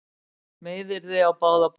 Meiðyrði á báða bóga